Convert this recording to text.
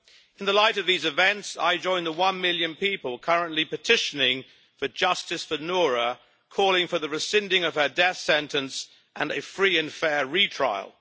In the light of these events, I join the one million people currently petitioning for justice for Noura, calling for the rescinding of her death sentence and a free and fair retrial.